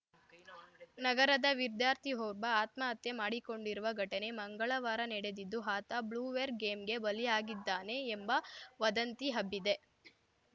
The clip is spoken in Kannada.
ನಗರದ ವಿದ್ಯಾರ್ಥಿಒಬ್ಬ ಆತ್ಮಹತ್ಯೆ ಮಾಡಿಕೊಂಡಿರುವ ಘಟನೆ ಮಂಗಳವಾರ ನಡೆದಿದ್ದು ಆತ ಬ್ಲೂವೇಲ್‌ ಗೇಮ್‌ಗೆ ಬಲಿಯಾಗಿದ್ದಾನೆ ಎಂಬ ವದಂತಿ ಹಬ್ಬಿದೆ